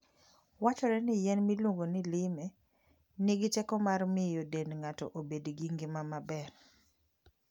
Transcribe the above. Wachore ni yien miluongo ni lime nigi teko mar miyo dend ng'ato obed gi ngima maber.